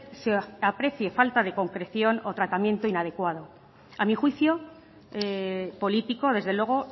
se aprecie falta de concreción o tratamiento inadecuado a mi juicio político desde luego